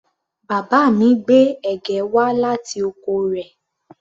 Bàbá mi gbé ẹ̀gẹ́ wá láti oko rẹ̀